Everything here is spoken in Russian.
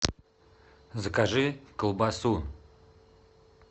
закажи колбасу